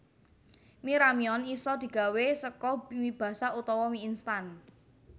Mi ramyeon isa digawé saka mi basah utawa mi instan